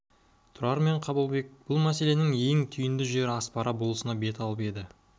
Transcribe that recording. тұрар мен қабылбек бұл мәселенің ең түйінді жері аспара болысына бет алып еді